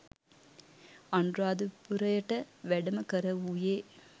අනුරාධපුරයට වැඩම කරවූයේ